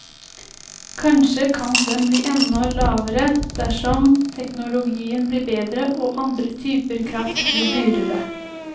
Kanskje kan den bli enda lavere dersom teknologien blir bedre og andre typer kraft blir dyrere.